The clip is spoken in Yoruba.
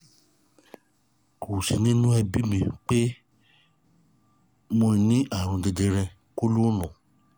kò sí nínú ẹbí mi pe mo ní àrùn jẹjẹrẹ kólọ́ọ̀nù